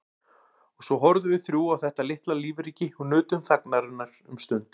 Og svo horfðum við þrjú á þetta litla lífríki og nutum þagnarinnar um stund.